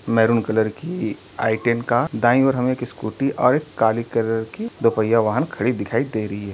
Maroon colour की i ten का दाईं ओर हमें एक स्कूटी और एक काली कलर की दो पहिया वाहन खड़ी दिखाई दे रही है।